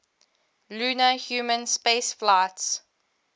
lunar human spaceflights